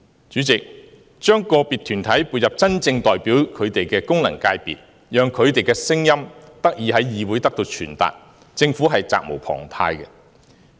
主席，將個別團體撥入真正代表他們的功能界別，讓他們的聲音得以在議會內傳達，政府是責無旁貸的。